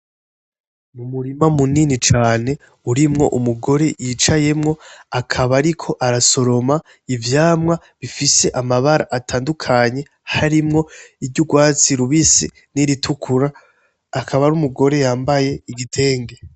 Umurima munini cane urimwo umugore yicayemwo akaba ariko arasoroma ivyamwa bifise amabara atandukanye harimwo iry'urwatsi rubisi niritukura, akaba ari umugore yambaye igitenge .